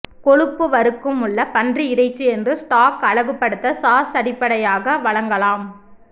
கொழுப்பு வருக்கும் உள்ள பன்றி இறைச்சி என்று ஸ்டாக் அழகுபடுத்த சாஸ் அடிப்படையாக வழங்கலாம்